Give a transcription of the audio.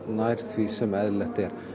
nær því sem eðlilegt er